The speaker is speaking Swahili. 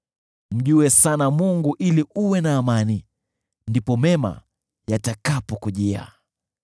“Mjue sana Mungu ili uwe na amani, ndipo mema yatakapokujia.